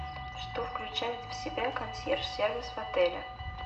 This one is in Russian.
что включает в себя консьерж сервис в отеле